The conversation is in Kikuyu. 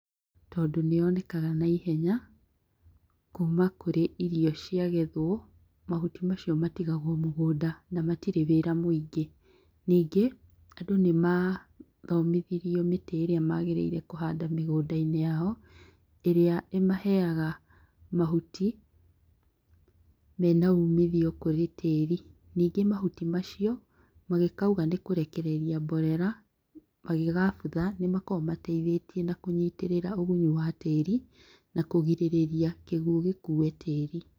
Tondũ nĩyonekaga naihenya kuma kũrĩa irio ciagethwo mahuti macio matigagwo mũgũnda na matirĩ wĩra mũingĩ. Nyingĩ, andũ nĩmathomithirio mĩtĩ ĩrĩa mabatiĩ kũhanda mĩgũnda-inĩ yao ĩrĩa ĩmaheaga mahuti mena umithio kũrĩ tĩĩri. Nyingĩ mahuti macio, magĩkauga nĩkũrekereria mborera, magĩgabutha nĩmakoragwo mateithĩtie na kũnyitĩrĩra ũgunyu wa tĩĩri na kũgirĩrĩria kĩguũ gĩkue tĩĩri.